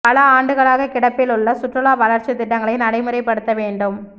பல ஆண்டுகளாக கிடப்பில் உள்ள சுற்றுலா வளர்ச்சித் திட்டங்களைநடைமுறைப்படுத்த வேண்டும்